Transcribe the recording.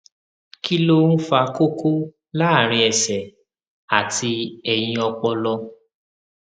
kí ló ń fa koko láàárín ẹsẹ àti ẹyìn ọpọlọ